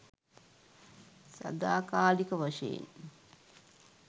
සදාකාලික වශයෙන්